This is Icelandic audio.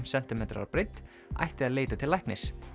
sentimetrar að breidd ætti að leita til læknis